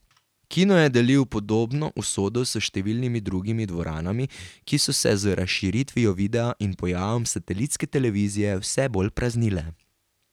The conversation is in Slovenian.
Kino je delil podobno usodo s številnimi drugimi dvoranami, ki so se z razširitvijo videa in pojavom satelitske televizije vse bolj praznile.